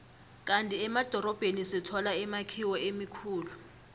kandi emadorobheni sithola imakhiwo emikhulu